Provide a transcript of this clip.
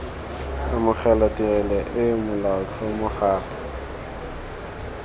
amogela tirelo eo molaotlhomo gape